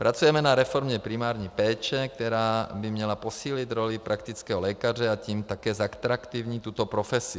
Pracujeme na reformě primární péče, která by měla posílit roli praktického lékaře, a tím také zatraktivnit tuto profesi.